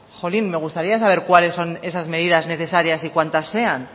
jolín me gustaría saber cuáles son esas medidas necesarias y cuantas sean